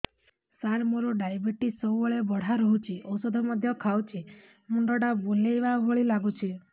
ସାର ମୋର ଡାଏବେଟିସ ସବୁବେଳ ବଢ଼ା ରହୁଛି ଔଷଧ ମଧ୍ୟ ଖାଉଛି ମୁଣ୍ଡ ଟା ବୁଲାଇବା ଭଳି ଲାଗୁଛି